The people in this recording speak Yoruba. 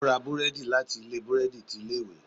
O ra búredì láti ilé burẹdi tí ilé ìwé